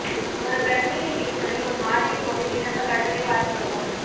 ஒரு பிரச்சனையைத் தீர்ப்பதில் ஒரு மாதிரி பொது விண்ணப்ப கட்டுரை வாசிக்கவும்